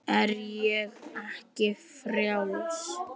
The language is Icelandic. Er ég ekki frjáls?